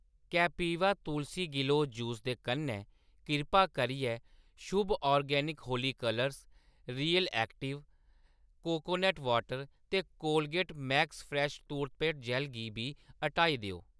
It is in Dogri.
कैपीवा तुलसी गलोऽ जूस दे कन्नै, किरपा करियै Shubh organic Holi colours, real active coconut water ते कोलगेट मैक्स फ्रैश टोरपेड जैल्ल गी बी हटाई देओ।